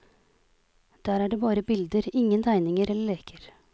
Der er det bare bilder, ingen tegninger eller leker.